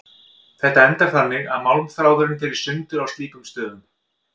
Þetta endar þannig að málmþráðurinn fer í sundur á slíkum stöðum.